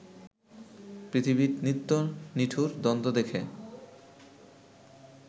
পৃথিবীর নিত্য নিঠুর দ্বন্দ্ব দেখে